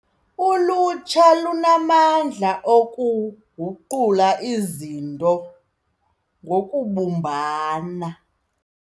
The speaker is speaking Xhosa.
Ulutsha lunamandla okuguqula izinto ngokubumbana.